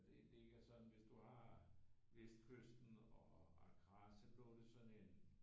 Det ligger sådan hvis du har vestkysten og Accra så lå det sådan en